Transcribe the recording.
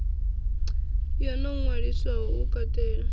yo no ṅwaliswaho u katela